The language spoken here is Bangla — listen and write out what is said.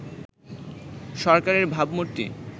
সরকারের ভাবমূর্তি